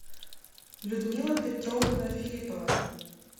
людмила петровна филиппова